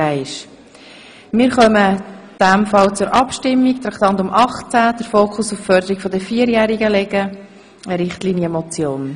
Damit kommen wir zur Abstimmung über die Richtlinienmotion.